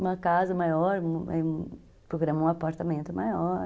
Uma casa maior, programar um apartamento maior.